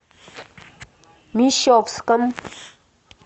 мещовском